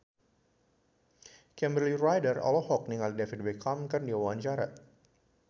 Kimberly Ryder olohok ningali David Beckham keur diwawancara